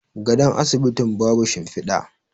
gadon asibitin babu shimfida